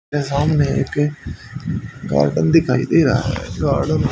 यह सामने एक गार्डन दिखाई दे रहा है गार्डन --